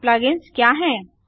plug ins क्या है